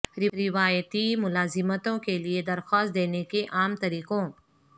روایتی ملازمتوں کے لئے درخواست دینے کے عام طریقوں